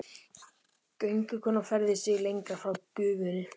Göngukonan færði sig lengra frá gufunni.